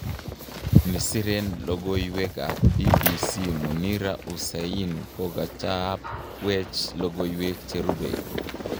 Nesiren logowek ap BBC Munira Hussain kokachaapwech logok cherupe